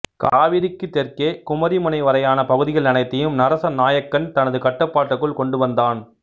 கவிரிக்குத் தெற்கே குமரி முனை வரையான பகுதிகள் அனைத்தையும் நரச நாயக்கன் தனது கட்டுப்பாட்டுக்குள் கொண்டுவந்தான்